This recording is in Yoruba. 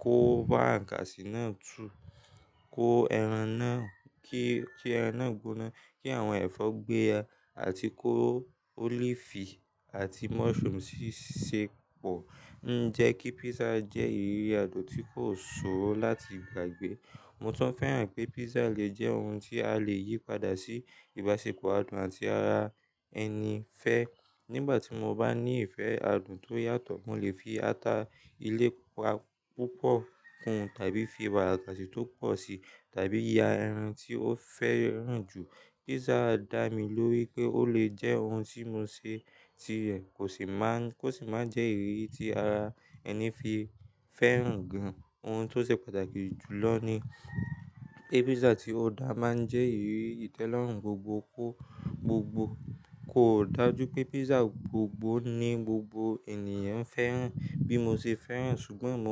kó wàárakàsì náà tu, kó ẹran náà, kí, kí ẹran náà gúná, kí àwọn ẹ̀fọ́ gbéya àti kó olive àti mushroom sì ṣe pọ̀ ń jẹ́ kí pizza jẹ́ ìrírí adùn tí kò ṣòro láti gbàgbé. Mo tún fẹ́ràn pé pizza lè jẹ́ ohun tí a lè yí padà sí ìbáṣepọ̀ àdùn láti ara ẹni fẹ́. Nígbà tí mo bá ní ìfẹ́ adùn tó yàtọ̀, mo lè fi ata ilé púpọ̀ kún tàbí fi wàárakàsì tó pọ̀ sí tàbí ya ẹran tí ó fẹ́ràn jù. Pizza dá mi lórí pé ó lè jẹ́ ohun tí mo ṣe ti rẹ̀ kò sì máa ń, kò sì máa jẹ́ ìrírí tí ara ẹni fi fẹ́ràn gan-an. Ohun tó ṣe pàtàkì jùlọ ni pé pizza tí o dá máa ń jẹ́ ìrírí ìtẹ́lọ́rùn gbogbogbò. Kò dà jú pé pizza gbogbo ni gbogbo ènìyàn fẹ́ràn bí mo ṣe fẹ́ràn, ṣùgbọ́n.